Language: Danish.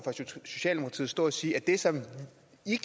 socialdemokratiet stå og sige at det som